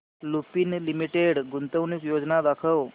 Lupin limited गुंतवणूक योजना दाखव